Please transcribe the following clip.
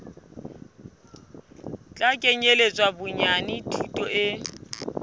tla kenyeletsa bonyane thuto e